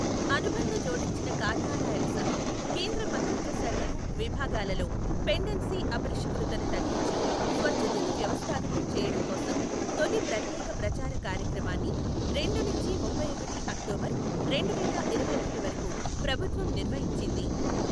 అనుబంధ జోడించిన కార్యాలయాలు సహా కేంద్ర మంత్రిత్వశాఖలు విభాగాలలో పెండెన్సీ అపరిష్కృతని తగ్గించి, స్వచ్ఛతను వ్యవస్థాగతం చేయడం కోసం తొలి ప్రత్యేక ప్రచార కార్యక్రమాన్ని రెండు నుంచి ముప్పైఒకటి అక్టోబర్, రెండువేల ఇరవైఒకటి వరకు ప్రభుత్వం నిర్వహించింది.